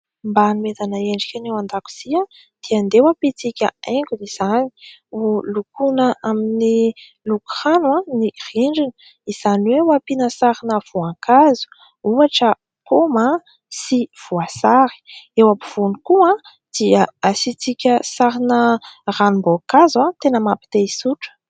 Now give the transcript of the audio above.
Mba anomezana endrika ny ao an-dakozia dia handeha ho ampiantsika haingony izany. Ho lokoana amin'ny loko rano ny rindrina izany hoe ho ampiana sarina voankazo ohatra paoma sy voasary. Eo ampovoany koa dia asiantsika sarina ranom-boankazo tena mampi-te hisotro.